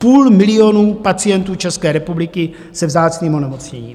Půl milionu pacientů České republiky se vzácným onemocněním.